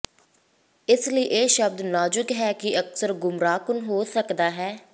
ਇਸ ਲਈ ਇਹ ਸ਼ਬਦ ਨਾਜ਼ੁਕ ਹੈ ਅਤੇ ਅਕਸਰ ਗੁੰਮਰਾਹਕੁੰਨ ਹੋ ਸਕਦਾ ਹੈ